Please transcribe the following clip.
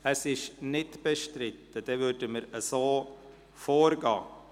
– Es ist nicht bestritten, wir werden so vorgehen.